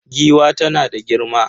Giwa tana da girma.